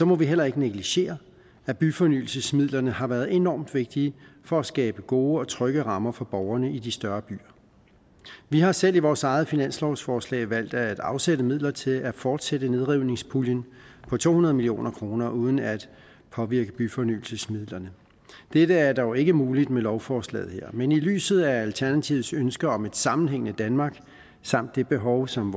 må vi heller ikke negligere at byfornyelsesmidlerne har været enormt vigtige for at skabe gode og trygge rammer for borgerne i de større byer vi har selv i vores eget finanslovsforslag valgt at afsætte midler til at fortsætte nedrivningspuljen på to hundrede million kroner uden at påvirke byfornyelsesmidlerne dette er dog ikke muligt med lovforslaget her men i lyset af alternativets ønske om et sammenhængende danmark samt det behov som